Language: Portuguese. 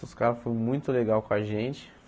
Os caras foram muito legais com a gente.